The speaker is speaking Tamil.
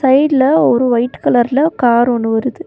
சைடுல ஒரு ஒயிட் கலர்ல கார் ஒன்னு வருது.